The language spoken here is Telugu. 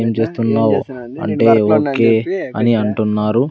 ఏం చేస్తున్నావు అంటే ఒకే అని అంటున్నారు.